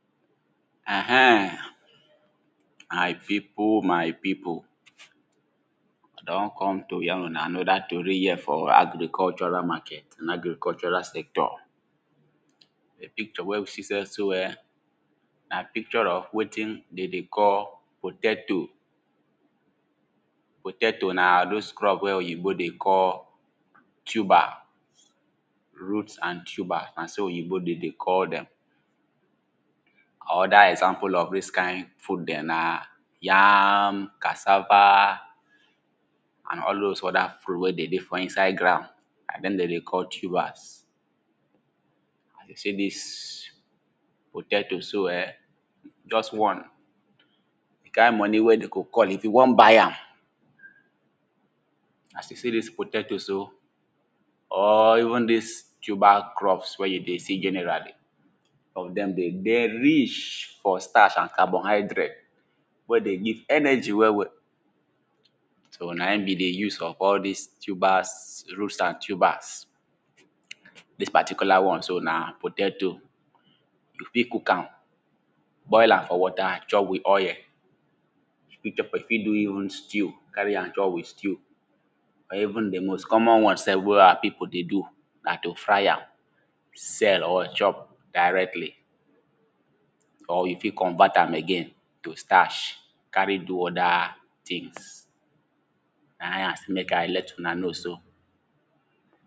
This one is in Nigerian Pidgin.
Err ehn, my pipo, my pipo I don come to yarn una another tory here for agricultural market and agricultural sector, di picture wey we see here so ehn, na picture of wetin de dey call potato, potato na dose crop wey oyibo dey call tuber, root and tuber na so oyibo de dey call dem, other example of dis kind food dem, na yam, cassava and all dose other food wey dey dey for inside ground, na dem den dey call tubers. As you see dis potato so ehn, just one, di kind money wey de go call if you wan buy am, as you see dis potato so, or even dis tuber crops wey you dey see generally, some of dem dey dey rich for starch and carbohydrate wey dey give energy well well. So na in be di use of all dis tubers, roots and tubers. Dis particular one so na potato, you fit cook am, boil am for water chop with oil, you fit do even stew, carry am chop with stew or even di most common one sef wey our pipu dey do, na to fry am sell or chop directly or you fit convert am again to starch carry do other things, na I sey mek I let una know so.